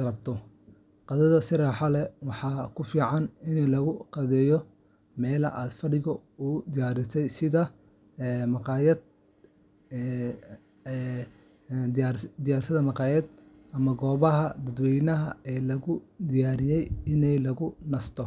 rabto qadada si raaxo leh, waxaa fiican in lagu qadayo meel ay fadhigu u diyaarsan yihiin sida maqaayadaha ama goobaha dadweynaha ee loo diyaariyay in lagu nasto.